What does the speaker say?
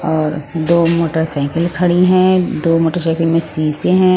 और दो मोटरसाइकिल खड़ी हैं दो मोटरसाइकिल में शीशे हैं।